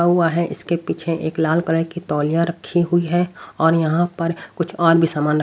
हुआ है इसके पीछे एक लाल कलर की तौलियां रखी हुई है और यहां पर कुछ और भी सामान--